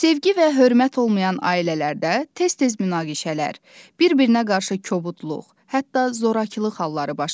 Sevgi və hörmət olmayan ailələrdə tez-tez münaqişələr, bir-birinə qarşı kobudluq, hətta zorakılıq halları baş verir.